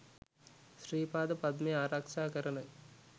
ශ්‍රී පාද පද්මය ආරක්ෂා කරන